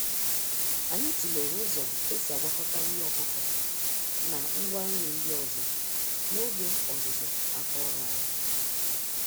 Anyị tụlere ụzọ esi agwakọta nri ọkụkọ na ngwa nri ndị ọzọ, n'oge ọzụzụ àkà ọrụ anyị.